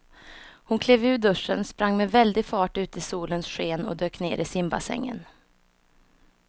Hon klev ur duschen, sprang med väldig fart ut i solens sken och dök ner i simbassängen.